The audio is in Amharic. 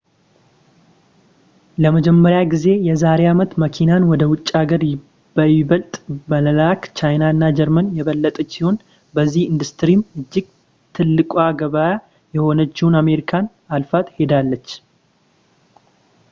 ለመጀመሪያ ጊዜ የዛሬ አመት መኪናን ወደ ውጭ ሀገር በይበልጥ በመላክ ቻይና ጀርመን የበለጠች ሲሆን በዚሁ ኢንዱስትሪም እጅግ ትልቋ ገበያ የሆነችውን አሜሪካን አልፋት ሄዳለች